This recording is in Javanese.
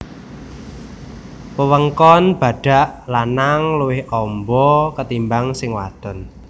Wewengkon badhak lanang luwih amba ketimbang sing wadon